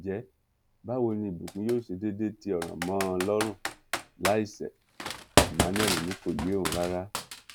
ǹjẹ báwo ni ìbùkún yóò ṣe déédé tí ọràn mọ ọn lọrùn láì ṣe emmanuel ni kò yé òun rárá